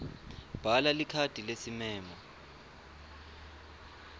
bhala likhadi lesimemo